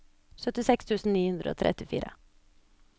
syttiseks tusen ni hundre og trettifire